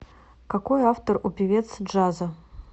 какой автор у певец джаза